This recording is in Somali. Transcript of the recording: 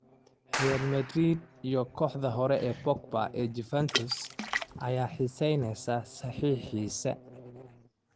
Real Madrid iyo kooxdii hore ee Pogba ee Juventus ayaa xiiseynaya saxiixiisa.